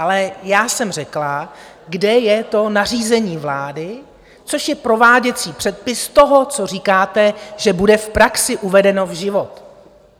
Ale já jsem řekla, kde je to nařízení vlády, což je prováděcí předpis toho, co říkáte, že bude v praxi uvedeno v život?